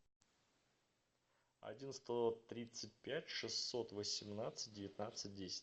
один сто тридцать пять шестьсот восемнадцать девятнадцать десять